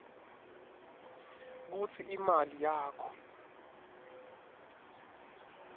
kutsi imali yakho